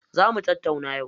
Za mu tattauna yau.